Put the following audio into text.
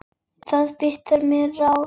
Þú biður um ráð.